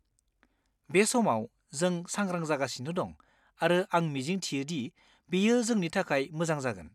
बे समाव, जों सांग्रां जागासिनो दं आरो आं मिजिंथियो दि बेयो जोंनि थाखाय मोजां जागोन।